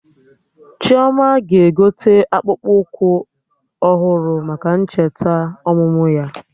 Chioma ga-egote akpụkpụ ọhụrụ maka ncheta ọmụmụ ya